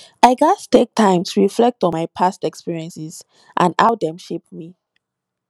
i gats take time to reflect on my past experiences and how dem shape me